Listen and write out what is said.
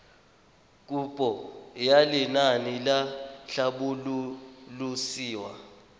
kopo ya lenaane la tlhabololosewa